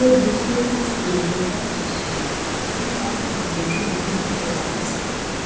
ये दृश्य कुछ गेंडो का दृश्य है जिसे हम अंग्रेजी में हिपोपोटोमस कहते है।